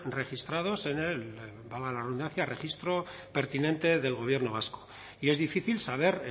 registrados en el valga la redundancia registro pertinente del gobierno vasco y es difícil saber